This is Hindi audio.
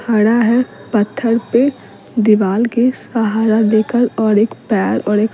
खड़ा है पत्थर पे दीवाल के सहारा देकर और एक पैर और एक --